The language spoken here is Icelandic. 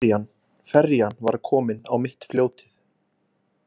Ferjan var komin á mitt fljótið.